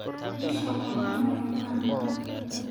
Bishaan waan beraayna